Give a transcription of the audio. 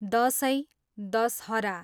Dashain, Dussehra